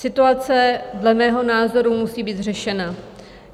Situace dle mého názoru musí být řešena.